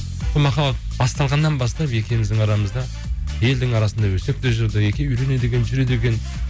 сол махаббат басталғаннан бастап екеуіміздің арамызда елдің арасында өсек те жүрді екеуі үйленеді екен жүреді екен